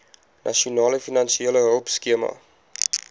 nasionale finansiële hulpskema